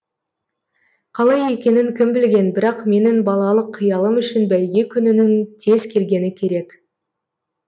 қалай екенін кім білген бірақ менің балалық қиялым үшін бәйге күнінің тез келгені керек